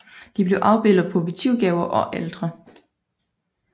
De blev afbildet på votivgaver og altre